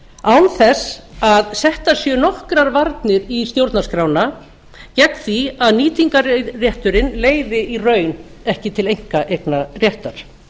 án þess að settar séu nokkrar varnir í stjórnarskrána gegn því að nýtingarrétturinn leiði í raun ekki til einkaeignarréttar